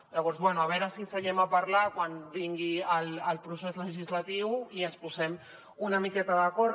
llavors bé a veure si seiem a parlar quan vingui el procés legislatiu i ens posem una miqueta d’acord